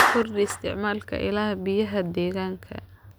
Kordhi isticmaalka ilaha biyaha deegaanka.